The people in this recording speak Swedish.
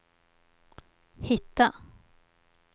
hitta